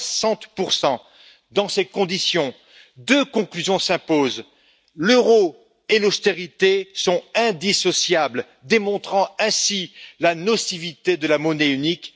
60 Dans ces conditions, deux conclusions s'imposent l'euro et l'austérité sont indissociables, démontrant ainsi la nocivité de la monnaie unique.